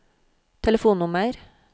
telefonnummer